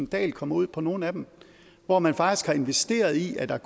dahl kommer ud på nogle af dem hvor man faktisk har investeret i at have